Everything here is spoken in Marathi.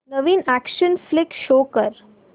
नवीन अॅक्शन फ्लिक शो कर